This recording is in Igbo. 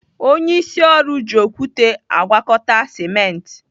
Onyeisi ọrụ ji okwute agwakọta simenti.